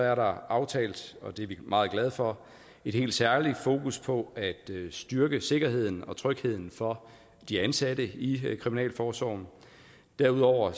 er der aftalt og det er vi meget glade for et helt særligt fokus på at styrke sikkerheden og trygheden for de ansatte i kriminalforsorgen og derudover